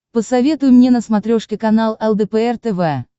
посоветуй мне на смотрешке канал лдпр тв